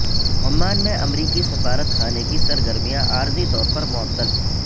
Oman میں امریکی سفارت خانے کی سرگرمیاں عارضی طور پر معطل